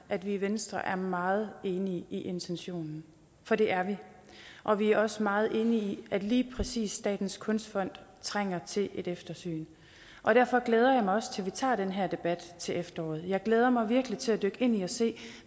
at vi i venstre er meget enige i intentionen for det er vi og vi er også meget enige i at lige præcis statens kunstfond trænger til et eftersyn derfor glæder jeg mig også til at vi tager den her debat til efteråret jeg glæder mig virkelig til at dykke ind i og se